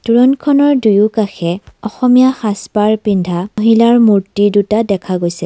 তোৰণখনৰ দুয়োকাষে অসমীয়া সাজ-পাৰ পিন্ধা মহিলাৰ মূৰ্ত্তি দুটা দেখা গৈছে।